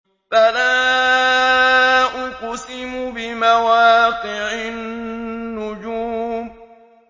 ۞ فَلَا أُقْسِمُ بِمَوَاقِعِ النُّجُومِ